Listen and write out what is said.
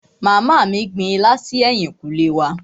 Màmá mí gbin ilá si ẹ̀yìnkùlé wa.